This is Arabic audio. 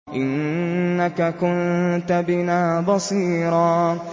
إِنَّكَ كُنتَ بِنَا بَصِيرًا